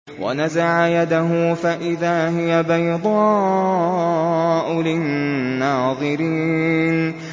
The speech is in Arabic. وَنَزَعَ يَدَهُ فَإِذَا هِيَ بَيْضَاءُ لِلنَّاظِرِينَ